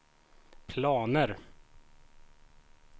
planer